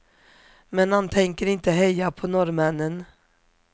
Men han tänker inte heja på norrmännen.